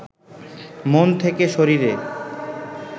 মন থেকে শরীরে